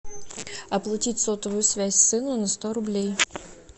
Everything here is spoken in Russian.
оплатить сотовую связь сыну на сто рублей